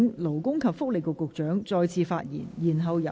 勞工及福利局局長，請發言。